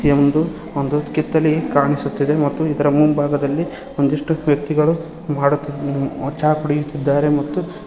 ಒಂದು ಒಂದು ಕಿತ್ತಲಿಗಿ ಕಾಣಿಸುತ್ತಿದೆ ಮತ್ತು ಇದರ ಮುಂಬಾಗದಲ್ಲಿ ಒಂದಿಷ್ಟು ವ್ಯಕ್ತಿಗಳು ಮಾಡುತ್ತಿದ್ ಚಾ ಕುಡಿಯುತ್ತಿದ್ದಾರೆ ಮತ್ತು--